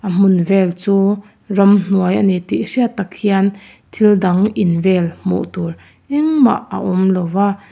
a hmun vel chu ramhnuai a ni tih hriat tak hian thil dang in vel hmuh tur engmah a awm lo va.